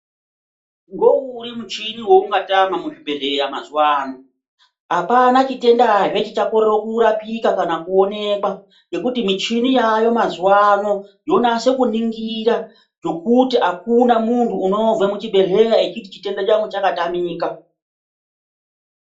Ngouri muchini woungatama muzvibhehleya mazuwa ano? Hapana chitendazve chichakorere kurapika kana kuonekwa ngokuti michini yaayo mazuwaano yonase kuningira ngokuti hakuna munhu unobve muchibhehleya echiti chitenda changu chakatamika.